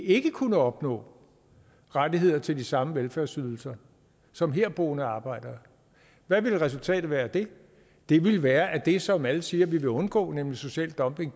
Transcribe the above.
ikke kunne opnå rettigheder til de samme velfærdsydelser som herboende arbejdere hvad ville resultatet være af det det ville være at det som alle siger man vil undgå nemlig social dumping